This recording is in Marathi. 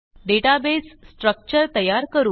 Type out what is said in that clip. डेटाबेस स्ट्रक्चर तयार करू